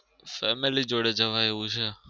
family જોડે જવાય એવું છે.